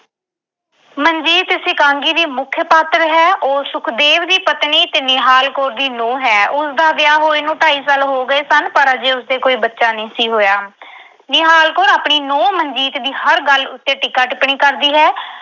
ਮਨਜੀਤ ਇਸ ਇਕਾਂਗੀ ਦੀ ਮੁੱਖ ਪਾਤਰ ਹੈ। ਉਹ ਸੁਖਦੇਵ ਦੀ ਪਤਨੀ ਤੇ ਨਿਹਾਲ ਕੌਰ ਦੀ ਨੂੰਹ ਹੈ। ਉਸਦਾ ਵਿਆਹ ਹੋਏ ਨੂੰ ਢਾਈ ਸਾਲ ਹੋ ਗਏ ਸਨ, ਪਰ ਅਜੇ ਉਸ ਦੇ ਕੋਈ ਬੱਚਾ ਨਹੀਂ ਸੀ ਹੋਇਆ। ਨਿਹਾਲ ਕੌਰ ਆਪਣੀ ਨੂੰਹ ਮਨਜੀਤ ਦੀ ਹਰ ਗੱਲ ਉੱਤੇ ਟੀਕਾ-ਟਿੱਪਣੀ ਕਰਦੀ ਹੈ।